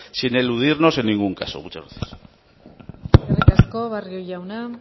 sin eludirnos en ningún caso muchas gracias eskerrik asko barrio jauna